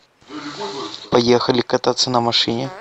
поехали кататься на машине